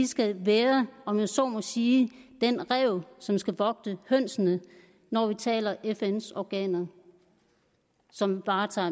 skal være om jeg så må sige den ræv som skal vogte gæssene når vi taler fn organer som varetager